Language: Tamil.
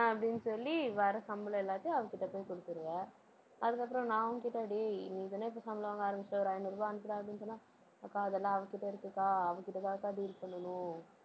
அப்படின்னு சொல்லி வர்ற சம்பளம் எல்லாத்தையும் அவகிட்ட போய் கொடுத்திருவ. அதுக்கப்புறம் நான் உன்கிட்ட டேய் நீதானே இப்ப சம்பளம் வாங்க ஆரம்பிச்சிட்ட ஒரு ஐந்நூறு ரூபாய் அனுப்புடா அப்படின்னு சொன்னா அக்கா அதெல்லாம் அவ கிட்ட இருக்குக்கா அவ கிட்டதான் அக்கா deal பண்ணணும்.